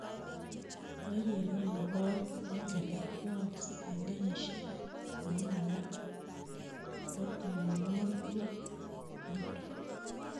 Chorirenet nebo oeng' en keret kooyokse en kenyisiek konom alan ko tomonwokik lo chebo muren.